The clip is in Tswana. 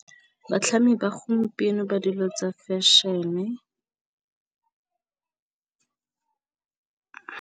Batlhami ba gompieno ba dilo tsa fashion-e .